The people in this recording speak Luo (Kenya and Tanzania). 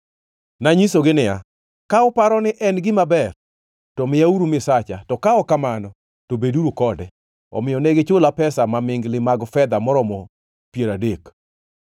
Nanyisogi niya, “Ka uparo ni en gima ber, to miyauru misacha, to ka ok kamano to beduru kode.” Omiyo ne gichula pesa mamingli mag fedha moromo piero adek.